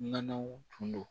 Nɔnɔw tun don